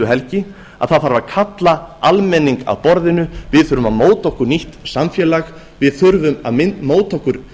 helgi að það þarf að kalla almenning að borðinu við þurfum að móta okkur nýtt samfélag við þurfum að móta okkur